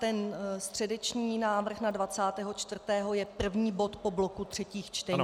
Ten středeční návrh na 24. je první bod po bloku třetích čtení - zbraně.